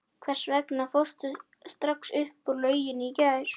Hvers vegna fórstu strax upp úr lauginni í gær?